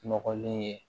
Nɔgɔlen ye